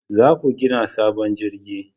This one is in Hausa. Za ku gina sabon jirgi